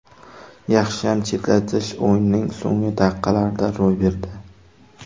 Yaxshiyam chetlatish o‘yinning so‘nggi daqiqalarida ro‘y berdi.